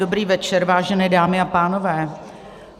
Dobrý večer, vážené dámy a pánové.